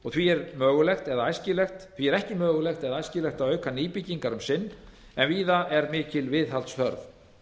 landið því er ekki mögulegt eða æskilegt að auka nýbyggingar um sinn en víða er mikil viðhaldsþörf